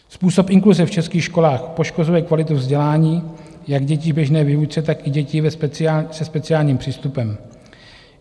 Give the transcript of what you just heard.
Způsob inkluze v českých školách poškozuje kvalitu vzdělání jak dětí v běžné výuce, tak i dětí se speciálním přístupem.